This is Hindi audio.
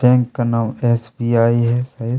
बैंक का नाम एस. बी. आई. है।